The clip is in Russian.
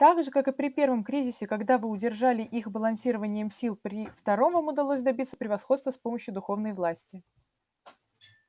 так же как и при первом кризисе когда вы удержали их балансированием сил при втором вам удалось добиться превосходства с помощью духовной власти